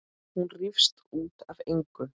Hún rífst út af engu.